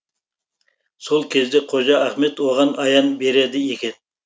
сол кезде қожа ахмет оған аян береді екен